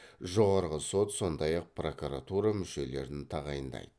жоғарғы сот сондай ақ прокуратура мүшелерін тағайындайды